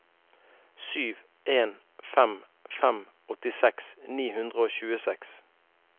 sju en fem fem åttiseks ni hundre og tjueseks